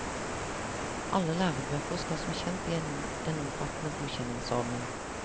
Alle lærebøker skal som kjent igjennom en omfattende godkjenningsordning.